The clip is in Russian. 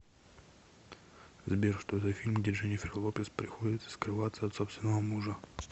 сбер что за фильм где дженифер лопез приходится скрываться от собственного мужа